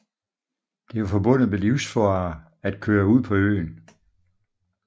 Det var forbundet med livsfare at køre ud på øen